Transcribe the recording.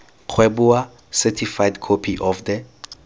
kgweboa certified copy of the